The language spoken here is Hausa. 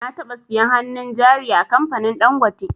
Na taɓa siyan hannun jari a kamfanin dangote